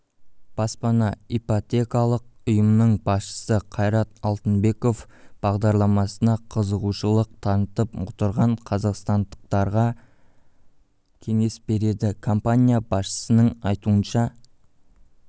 баспана ипотекалық ұйымының басшысы қайрат алтынбеков бағдарламасына қызығушылық танытып отырған қазақстандықтарға кеңес берді компания басшысының айтуынша